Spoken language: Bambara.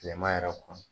Tilema yɛrɛ kɔnɔ